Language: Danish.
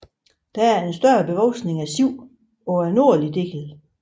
Der er en større bevoksning af siv på den nordlige del